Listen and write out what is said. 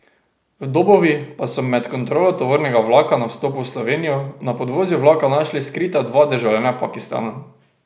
V Dobovi pa so med kontrolo tovornega vlaka na vstopu v Slovenijo na podvozju vlaka našli skrita dva državljana Pakistana.